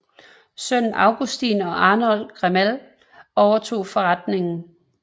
Sønnene Augustin og Arnold Gamél overtog forretningen